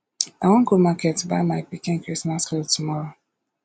i wan go market buy my pikin christmas cloth tomorrow